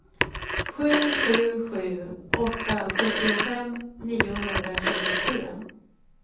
sju sju sju åtta sjuttiofem niohundratjugotre